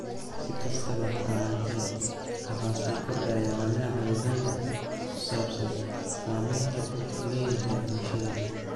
Si kastaba ha ahaatee, waxaa sii kordhaya walaaca Uganda ku saabsan saameynta uu ku leeyahay bulshada.